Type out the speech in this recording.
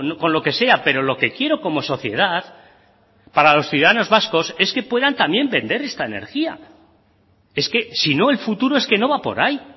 con lo que sea pero lo que quiero como sociedad para los ciudadanos vascos es que puedan también vender esta energía es que si no el futuro es que no va por ahí